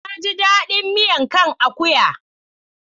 Na ji daɗin miya kan akuya.